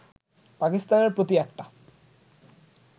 পাকিস্তানের প্রতি একটা